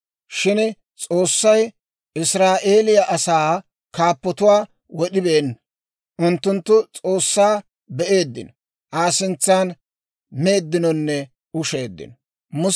Shin S'oossay Israa'eeliyaa asaa kaappatuwaa wod'ibeenna. Unttunttu S'oossaa be'eeddino; Aa sintsan meeddinonne usheeddino.